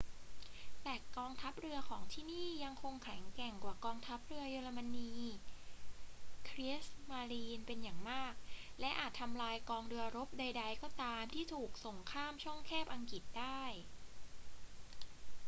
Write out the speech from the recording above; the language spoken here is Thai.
แต่กองทัพเรือของที่นี่ยังคงแข็งแกร่งกว่ากองทัพเรือเยอรมัน kriegsmarine” เป็นอย่างมาก และอาจทำลายกองเรือรบใด ๆ ก็ตามที่ถูกส่งข้ามช่องแคบอังกฤษได้